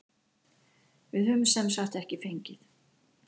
Við höfum semsagt ekki fengið.